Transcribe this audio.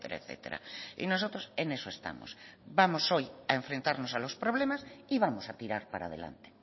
etcétera y nosotros en eso estamos vamos hoy a enfrentarnos a los problemas y vamos a tirar para adelante